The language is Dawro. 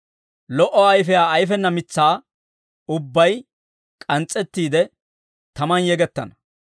Lo"o ayfiyaa ayfena mitsaa ubbay k'ans's'ettiide, tamaan yegettana.